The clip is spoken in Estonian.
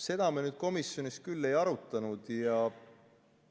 Seda me komisjonis küll ei arutanud.